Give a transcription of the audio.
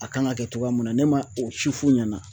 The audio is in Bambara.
A kan ka kɛ cogoya min na ne ma o si f'u ɲɛna